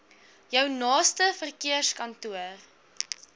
jou naaste verkeerskantoor